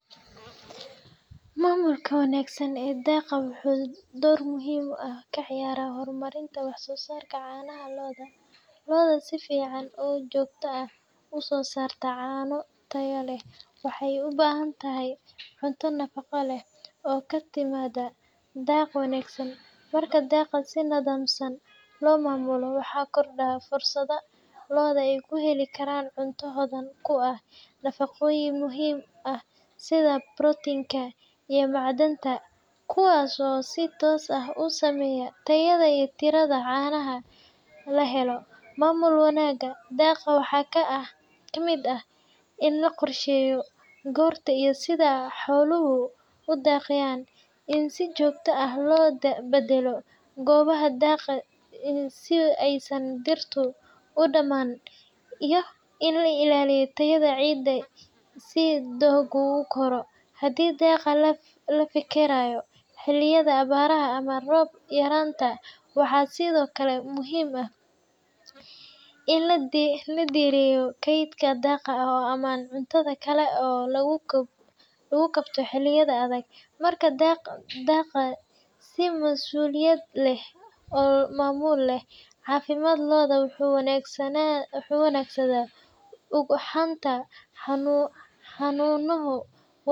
Maamulka wanaagsan ee deeqa wuxu door muhiim ah kaciyaara horumarinta wax soo sarka caanaha loo'da, loo'da si ficaan oo jogto ah u soo sarta caano Taya leh, waxay ubahantahay cunto nafaqa leh oo ka yimaada deeq wannagsan, marka deeqa si nimadsan loo maamulo waxa kordha fursada loo'da ay kujeelin karaan cuntada hoodan ku ah nafaqooyin muhiim ah sida brotenka iyo macdanta kuwaaso si toos ah usaameya tirada iyo tayada caanaha la heelo. maamulka wanaaga deeqa waxa kamid ah in la qorsheeyo gorta iyo sida xooluhu udaaqayan, in si jogto ah loo dal badalo gobaha daaqa si aysan dhirtu udhamaanin iyo ini la illaliyo tayada ciida si dooga u ukoro, hadii daaqa lafikirayo xiliyada abaaraha ama rob yaranta waxaa sidokale muhiim ah in ladhiiriyo keydka daqaaa ama cuntada kale oo lugu qabto xiliyada adag, marka daaqa si mas'uliyad leh oo maamul leh caafimad loo'da wuxuu wanagsanada xanta xanuunahu